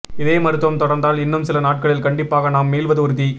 இதே மருத்துவம் தொடர்ந்தால் இன்னும் சில நாட்களில் கண்டிப்பாக நாம் மீள்வது உறுதி